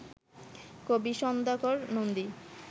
কবি সন্ধ্যাকর নন্দী